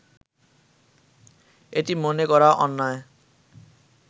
এটি মনে করা অন্যায়